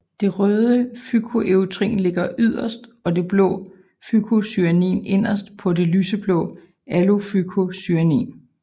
Det røde fykoerytrin ligger yderst og det blå fykocyanin inderst på det lyseblå allofykocyanin